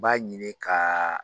B'a ɲini ka